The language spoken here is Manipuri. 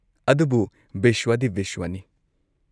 ꯑꯗꯨꯕꯨ ꯕꯤꯁ꯭ꯋꯥꯗꯤ ꯕꯤꯁ꯭ꯋꯥꯅꯤ꯫